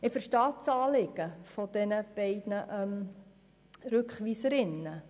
Ich verstehe das Anliegen der beiden Rückweiserinnen.